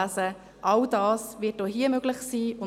All dies wird auch hier möglich sein.